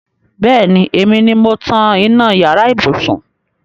Bẹẹni, èmi ni mo tan iná yàrá ibùsùn